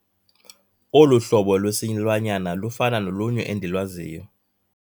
Olu hlobo lwesilwanyana lufana nolunye endilwaziyo.